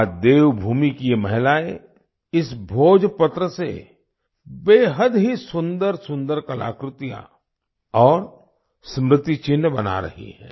आज देवभूमि की ये महिलाएं इस भोजपत्र से बेहद ही सुंदरसुंदर कलाकृतियाँ और स्मृति चिन्ह बना रही हैं